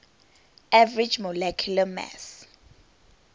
average molecular mass